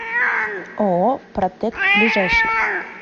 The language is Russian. ооо протэк ближайший